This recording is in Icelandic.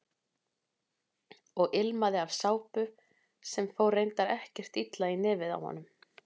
Og ilmaði af sápu sem fór reyndar ekkert illa í nefið á honum.